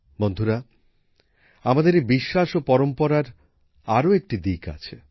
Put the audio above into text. বন্ধুরা আমাদের এই বিশ্বাস ও পরম্পরার আরও একটা দিক আছে